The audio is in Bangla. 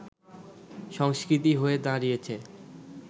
সংস্কৃতি হয়ে দাঁড়িয়েছে